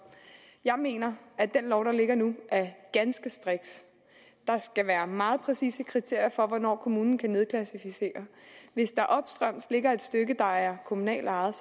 jeg mener at den lov der ligger nu er ganske striks der skal være meget præcise kriterier for hvornår kommunen kan nedklassificere hvis der opstrøms ligger et stykke der er kommunalt ejet